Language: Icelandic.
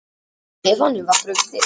Stefáni var brugðið.